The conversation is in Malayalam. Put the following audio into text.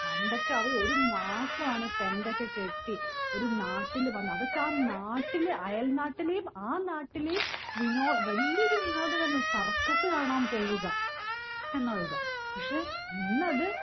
പണ്ടൊക്കെ അവര് ഒരു മാസാണ് tent ഒക്കെ കെട്ടി ഒരു നാട്ടിൽ വന്ന് അതൊക്കെ ആ നാട്ടില്‍ അയൽ നാട്ടിലേം ആ നാട്ടിലേം വിനോ വലിയൊരു വിനോദമായിരുന്നു circus കാണാൻ പോവുക എന്നുള്ളത് പക്ഷേ ഇന്നത്